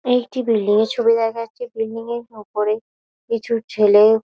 এইটি building এর ছবি দেখা যাচ্ছে। বিল্ডিং এর উপরে কিছু ছেলে--